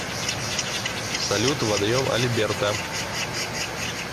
салют водоем альберта